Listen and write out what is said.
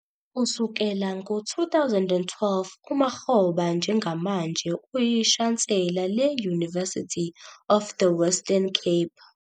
Kusukela ngo-2012, uMakgoba njengamanje uyishansela le- University of the Western Cape.